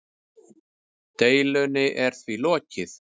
Deilunni er því lokið.